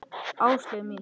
Áslaug mín!